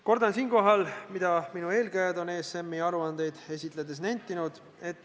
Kordan siinkohal seda, mida minu eelkäijad on ESM-i aruandeid esitledes nentinud.